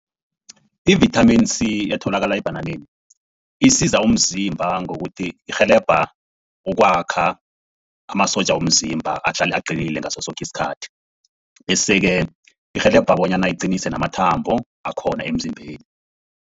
I-vitamin C etholakala ebhananeni isiza umzimba ngokuthi irhelebha ukwakha amasotja womzimba ahlale aqinile ngaso soke isikhathi. Bese-ke irhelebha bonyana iqinise namathambo akhona emzimbeni.